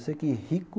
Eu sei que rico,